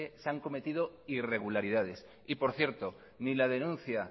se han cometido irregularidades y por cierto ni la denuncia